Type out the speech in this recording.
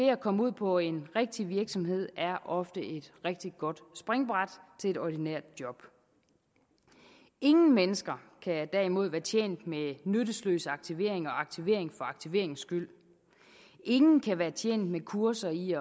at komme ud på en rigtig virksomhed er ofte et rigtig godt springbræt til et ordinært job ingen mennesker kan derimod være tjent med nyttesløs aktivering og aktivering for aktiveringens skyld ingen kan være tjent med kurser i